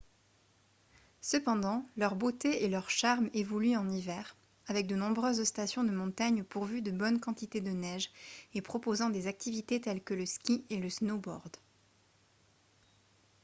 cependant leur beauté et leur charme évoluent en hiver avec de nombreuses stations de montagne pourvues de bonnes quantités de neige et proposant des activités telles que le ski et le snowboard